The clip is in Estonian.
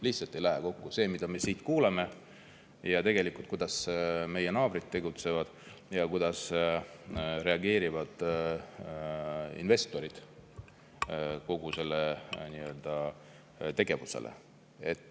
Lihtsalt ei lähe kokku see, mida me siin kuuleme ning kuidas meie naabrid tegutsevad ja kuidas investorid reageerivad kogu sellele tegevusele.